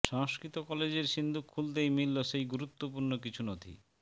সংস্কৃত কলেজের সিন্দুক খুলতেই মিলল সেই গুরুত্বপূর্ণ কিছু নথি